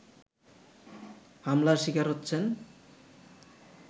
হামলার শিকার হচ্ছেন